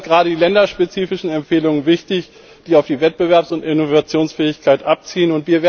Dabei sind gerade die länderspezifischen Empfehlungen wichtig, die auf die Wettbewerbs und Innovationsfähigkeit abzielen.